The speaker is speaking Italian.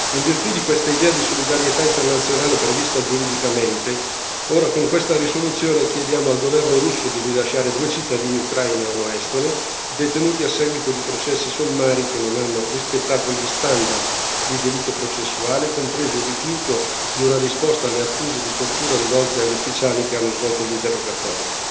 In virtù di quest'idea di solidarietà internazionale prevista giuridicamente, ora con questa risoluzione chiediamo al governo russo di rilasciare due cittadini ucraini e uno estone detenuti a seguito di processi sommari che non hanno rispettato gli standard di diritto processuale, compreso il rifiuto di una risposta alle accuse di tortura rivolte agli ufficiali che hanno svolto gli interrogatori.